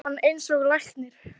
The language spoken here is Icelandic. líkamann eins og læknir.